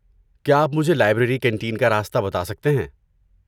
کیا آپ مجھے لائبریری کینٹین کا راستہ بتا سکتے ہیں؟